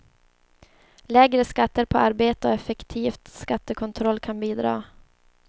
Lägre skatter på arbete och effektiv skattekontroll kan bidra.